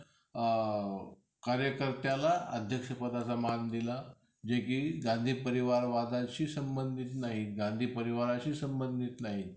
अ कार्यकर्त्याला अध्यक्ष पदाचा मान दिला. जे की गांधी परिवार वादाशी संबंधीत नाही गांधी परिवाराशी संबंधित नाही.